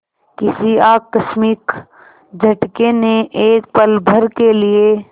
किसी आकस्मिक झटके ने एक पलभर के लिए